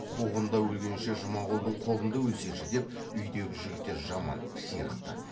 қуғында өлгенше жұмағұлдың қолында өлсеші деп үйдегі жігіттер жаман ширықты